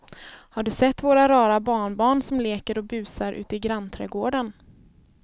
Har du sett våra rara barnbarn som leker och busar ute i grannträdgården!